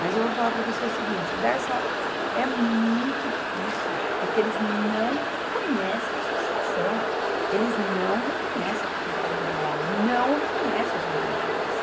Mas eu vou falar para você o seguinte, o Dersa é muito difícil porque eles não reconhece a associação, eles não reconhece a Prefeitura de Mauá, não reconhece os vereadores.